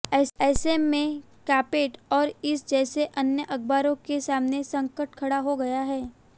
ऐसे में कांपैक्ट और इस जैसे अन्य अखबारों के सामने संकट खड़ा हो गया है